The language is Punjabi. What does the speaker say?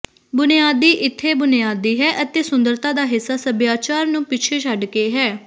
ਬੁਨਿਆਦੀ ਇੱਥੇ ਬੁਨਿਆਦੀ ਹੈ ਅਤੇ ਸੁੰਦਰਤਾ ਦਾ ਹਿੱਸਾ ਸੱਭਿਆਚਾਰ ਨੂੰ ਪਿੱਛੇ ਛੱਡ ਕੇ ਹੈ